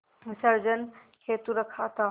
विसर्जन हेतु रखा था